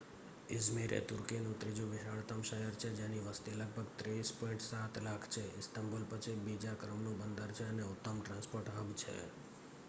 Izmir એ તુર્કીનું ત્રીજું વિશાળતમ શહેર છે જેની વસ્તી લગભગ 30.7 લાખ છે ઇસ્તંબુલ પછી બીજા ક્રમનું બંદર છે અને ઉત્તમ ટ્રાન્સ્પોર્ટ હબ છે